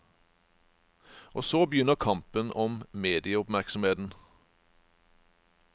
Og så begynner kampen om medieoppmerksomheten.